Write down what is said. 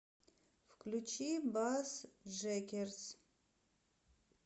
включи бассджэкерс